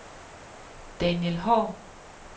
Daniel Haahr